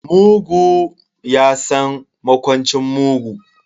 Mugu ya san makwancin mugu.